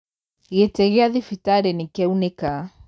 Gĩtĩgĩa thibitarĩnĩkĩaunĩka.